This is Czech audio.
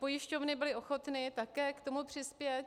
Pojišťovny byly ochotny také k tomu přispět.